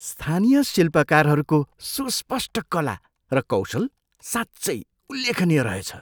स्थानीय शिल्पकारहरूको सुस्पष्ट कला र कौशल साँच्चै उल्लेखनीय रहेछ।